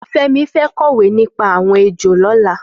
Femi fẹ̀ kọwé nipá awọn éjó lọ̀lá